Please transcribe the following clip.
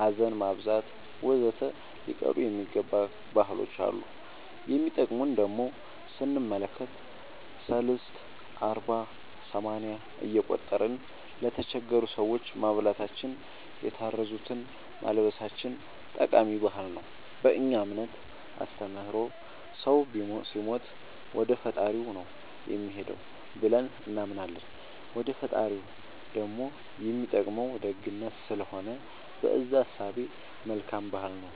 ሀዘን ማብዛት ወዘተ ሊቀሩ የሚገባ ባህሎች አሉ የሚጠቅሙን ደሞ ስንመለከት ሰልስት አርባ ሰማንያ እየቆጠርን ለተቸገሩ ሰዎች ማብላታችን የታረዙትን ማልበሳችን ጠቃሚ ባህል ነው በእኛ እምነት አስተምሮ ሰው ሲሞት ወደፈጣሪው ነው የሚሄደው ብለን እናምናለን ወደ ፈጣሪው ደሞ የሚጠቅመው ደግነት ስለሆነ በእዛ እሳቤ መልካም ባህል ነው